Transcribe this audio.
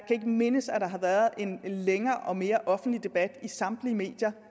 ikke mindes at der har været en længere og mere offentlig debat i samtlige medier